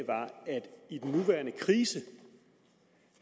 i den nuværende krise